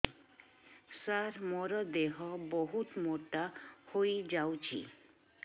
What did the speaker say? ସାର ମୋର ଦେହ ବହୁତ ମୋଟା ହୋଇଯାଉଛି